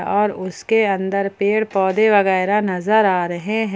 और उसके अंदर पेड़ पौधे वगैरा नज़र आ रहे हैं।